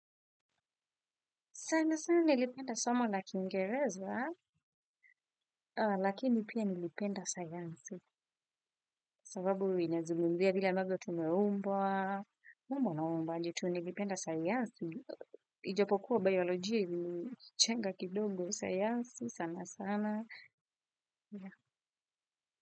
Sana sana nilipenda somo la kingereza, lakini pia nilipenda sayansi, sababu inasimulia vile ambavyo tumeumbwa, umba na umbaji tu nilipenda sayansi, ijapokuwa biolojia ilinichenga kidogo sayansi sana sana.